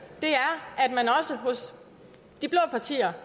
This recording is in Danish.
er at man også hos de blå partier